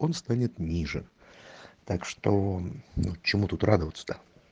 он станет ниже так что ну чему тут радоваться то